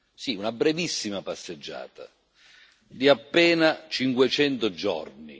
Sì, una brevissima passeggiata di appena 500 giorni.